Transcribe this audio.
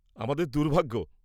-আমাদের দুর্ভাগ্য।